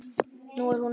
Nú er hún öll.